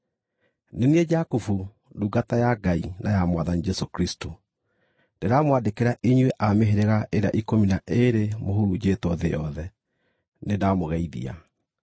Nĩ niĩ Jakubu, ndungata ya Ngai na ya Mwathani Jesũ Kristũ, Ndĩramwandĩkĩra inyuĩ a mĩhĩrĩga ĩrĩa ikũmi na ĩĩrĩ mũhurunjĩtwo thĩ yothe: Nĩndamũgeithia.